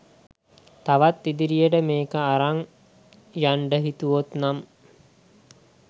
තවත් ඉදිරියට මේක අරං යන්ඩ හිතුවොත්නම්